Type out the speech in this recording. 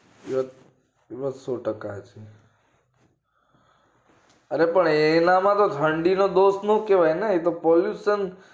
ય એ વાત સો ટકા હાચી અરે પણ એના તો ઠંડી નો દોષ નો કેવાય ને એતો pollution